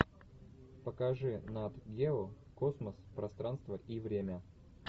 покажи нат гео космос пространство и время